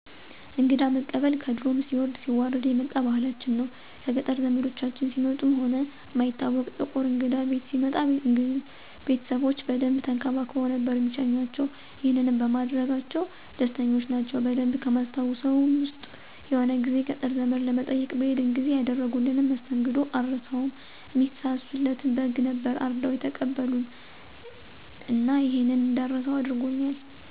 እንግዳ መቀበል ከድሮም ሲወርድ ሲዋረድ የመጣ ባህላችን ነው። ከገጠር ዘምዶቻችን ሲመጡ ሆነ እማይታወቅ ጥቁር እንግዳ ቤት ሲመጣ ቤተሰቦቼ በደንብ ተንከባክበው ነበር እሚሸኙአቸው። ይሄንንም በማድረጋቸው ደስተኞች ናቸው። በደንብ ከማስታውሰው ዉስጥ የሆነ ጊዜ ገጠር ዘመድ ለመጠየቅ በሄድን ጊዜ ያደረጉልንን መስተንግዶ አረሳውም። እሚሳሱለትን በግ ነበር አርደው የተቀበሉን እና ይሄንን እንዳረሳው አድርጎኛል።